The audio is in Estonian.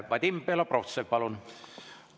Vadim Belobrovtsev, palun!